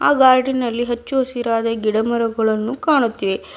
ಆ ಗಾರ್ಡಿನಲ್ಲಿ ಹಚ್ಚು ಹಸಿರಾದ ಗಿಡಮರಗಳನ್ನು ಕಾಣುತ್ತಿವೆ.